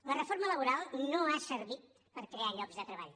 la reforma laboral no ha servit per crear llocs de treball